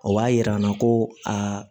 O b'a yira an na ko aa